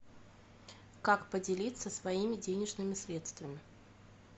как поделиться своими денежными средствами